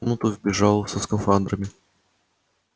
в комнату вбежал со скафандрами